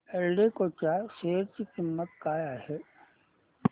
एल्डेको च्या शेअर ची किंमत काय आहे